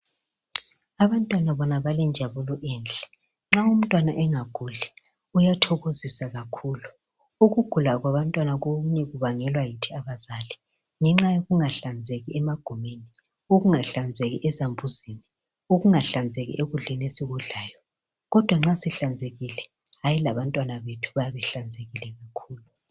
Abantwana bona balenjabulo enhle nxa umntwana engaguli kuyathokozisa kakhulu ukugula kwabantwana okunye kubangelwa yithi abazali ngenxa yokungahlanzeki emagumeni ukungahlanzeki ezambuzini ukungahlanzeki ekudleni esikudlayo kodwa nxa sihlanzekile hayi labantwana bethu bayabe behlanzekile kakhulu.